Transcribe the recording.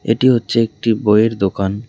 এটি হচ্ছে একটি বইয়ের দোকান।